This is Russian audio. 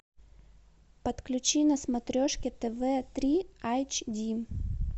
подключи на смотрешке тв три айч ди